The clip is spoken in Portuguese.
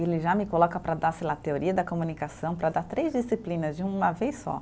E ele já me coloca para dar, sei lá, teoria da comunicação, para dar três disciplinas de uma vez só.